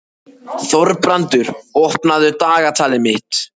Þorbrandur, opnaðu dagatalið mitt.